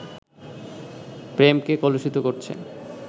প্রেমকে কলুষিত করছে